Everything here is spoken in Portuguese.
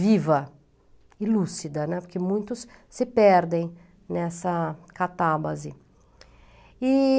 viva e lúcida, né, porque muitos se perdem nessa catábase.